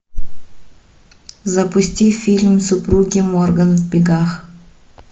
запусти фильм супруги морган в бегах